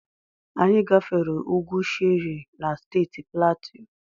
Anyị gafere ugwu Shere na Steeti Platu.